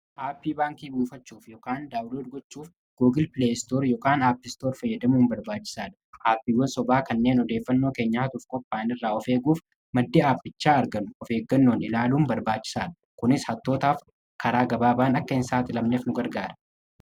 Aappii baankii buufachuuf yookaan daawolodi gochuuf googil pileestoor ykn aappistoor fayyadamuuin barbaachisaadha. Aappiiwwan sobaa kanneen odeeffannoo keenyaa atuuf kopaayiin irraa ofeeguuf maddi aappichaa argan ofeeggannoon ilaaluun barbaachisaadha. Kunis hattootaaf karaa gabaabaan akka hin saaxi lamneef nu gargaara.